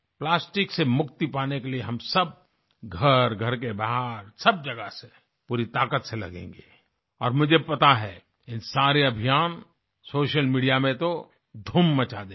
plastic से मुक्ति पाने के लिए हम सब घर घर के बाहर सब जगह से पूरी ताकत से लगेंगे और मुझे पता है ये सारे अभियान सोशल मीडिया में तो धूम मचा देंगे